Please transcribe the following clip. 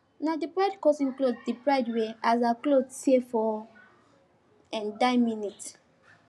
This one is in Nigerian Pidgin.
na the bride cousin clothe the bride wear as her cloth tear for die minute